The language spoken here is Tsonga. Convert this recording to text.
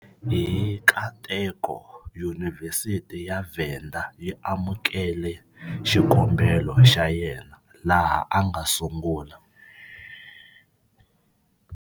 Hi nkateko, Yunivhesiti ya Venda yi amukele xikombelo xa yena, laha a nga sungula.